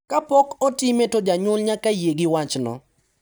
Kapok otime to janyuol nyaka yie gi wachno.